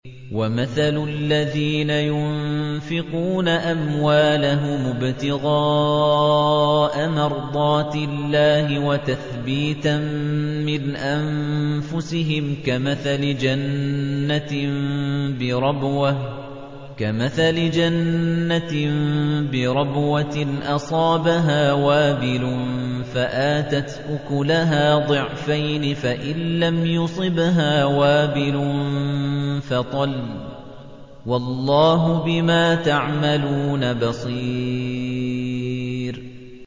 وَمَثَلُ الَّذِينَ يُنفِقُونَ أَمْوَالَهُمُ ابْتِغَاءَ مَرْضَاتِ اللَّهِ وَتَثْبِيتًا مِّنْ أَنفُسِهِمْ كَمَثَلِ جَنَّةٍ بِرَبْوَةٍ أَصَابَهَا وَابِلٌ فَآتَتْ أُكُلَهَا ضِعْفَيْنِ فَإِن لَّمْ يُصِبْهَا وَابِلٌ فَطَلٌّ ۗ وَاللَّهُ بِمَا تَعْمَلُونَ بَصِيرٌ